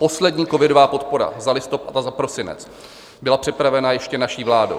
Poslední covidová podpora za listopad a za prosinec byla připravena ještě naší vládou.